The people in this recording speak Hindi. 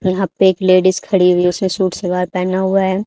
यहां पे एक लेडिस खड़ी हुई है उसने सूट सलवार पहना हुआ है।